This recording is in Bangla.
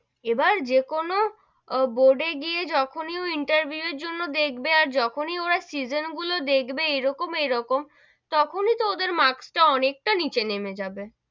এবার যেকোনো board এ গিয়ে যখনই ও interview জন্য দেখবে, আর যখনই ওরা season গুলো দেখবে, এরকম এরকম, তখনি তো ওদের marks টা অনেকটাই নিচে নেমে যাবে,